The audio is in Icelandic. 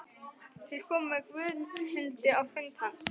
Þeir komu með Gunnhildi á fund hans.